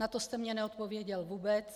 Na to jste mně neodpověděl vůbec.